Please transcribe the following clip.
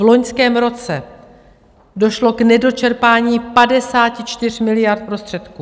V loňském roce došlo k nedočerpání 54 miliard prostředků.